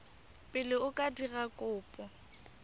pele o ka dira kopo